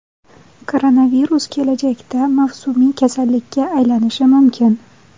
Koronavirus kelajakda mavsumiy kasallikka aylanishi mumkin.